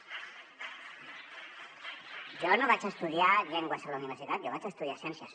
jo no vaig estudiar llengües a la universitat jo vaig estudiar ciències